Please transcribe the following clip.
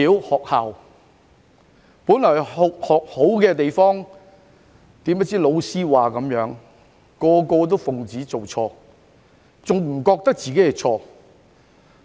學校本來是學好的地方，誰不知老師一說學生便通通奉旨做錯，甚至不認為自己有錯。